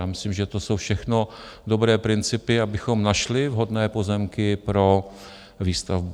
Já myslím, že to jsou všechno dobré principy, abychom našli vhodné pozemky pro výstavbu.